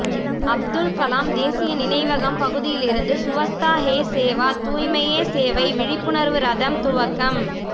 அப்துல் கலாம் தேசிய நினைவகம் பகுதியிலிருந்து சுவச்தா ஹே சேவா தூய்மையே சேவை விழிப்புணா்வு ரதம் துவக்கம்